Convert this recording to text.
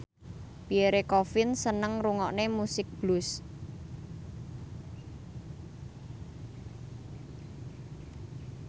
Pierre Coffin seneng ngrungokne musik blues